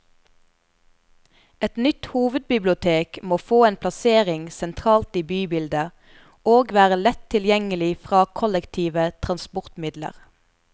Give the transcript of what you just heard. Et nytt hovedbibliotek må få en plassering sentralt i bybildet, og være lett tilgjengelig fra kollektive transportmidler.